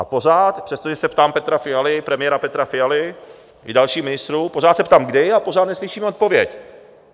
A pořád, přestože se ptám Petra Fialy, premiéra Petra Fialy, i dalších ministrů, pořád se ptám kdy a pořád neslyším odpověď.